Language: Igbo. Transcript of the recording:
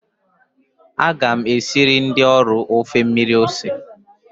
Aga m esiri ndi ọrụ ofe mmiri ose